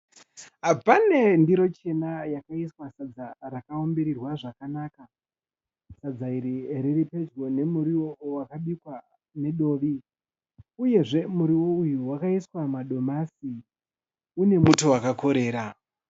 Pane ndiro chena yakaiswa sadza rakaumbirirwa zvakanaka. Sadza iri riri pedyo nemuriwo wakabikwa nedovi uyezve muriwo uyu wakaiswa madomasi. Une muto wakakorera.